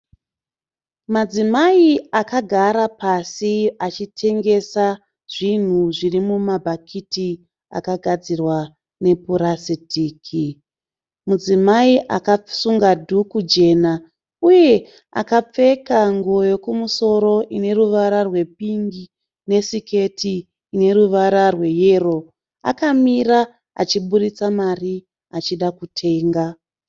Madzimai akagara pasi achitengesa zvinhu zviri muma bhakiti akagadzirwa nepurasiritiki. Mudzimai akasunga dhuku jena uye akapfeka nguo yokumusoro ine ruwara rwe pingi nesiketi ine ruwara rwe yero akamira achiburitsa mari achida kutenga.